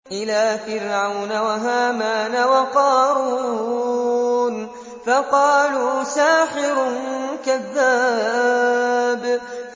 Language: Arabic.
إِلَىٰ فِرْعَوْنَ وَهَامَانَ وَقَارُونَ فَقَالُوا سَاحِرٌ كَذَّابٌ